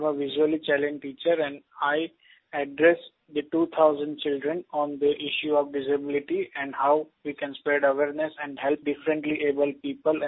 I am a visually challenged teacher and I addressed 2000 children on the issue of disability and how we can spread awareness and help differently abled people